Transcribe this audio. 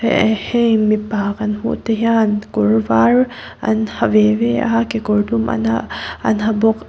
hei mipa kan hmuh te hian kawr var an ha ve ve a kekawr dum an ha an ha bawk.